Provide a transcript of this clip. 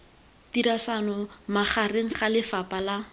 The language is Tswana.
tirisano magareng ga lefapha la